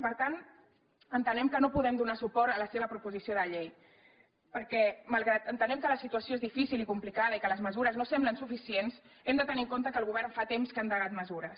per tant entenem que no podem donar suport a la seva proposició de llei perquè malgrat que entenem que la situació és difícil i complicada i que les mesures no semblen suficients hem de tenir en compte que el govern fa temps que ha endegat mesures